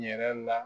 Yɛrɛ la